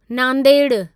नांदेड़ु